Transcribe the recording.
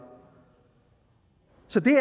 så det